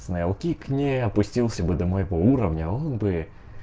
снейлкик не опустился бы до моего уровня он бы